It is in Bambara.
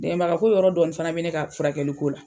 Dɛmɛbaga ko yɔrɔ dɔɔni fana be ne ka furakɛli ko la.